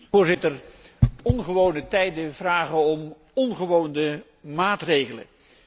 Voorzitter, ongewone tijden vragen om ongewone maatregelen.